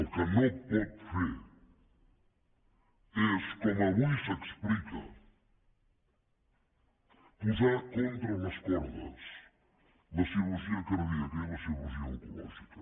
el que no pot fer és com avui s’explica posar contra les cordes la cirurgia cardíaca i la cirurgia oncològica